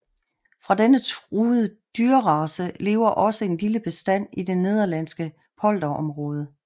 Fra denne truede dyrrace lever også en lille bestand i det nederlandske polderområde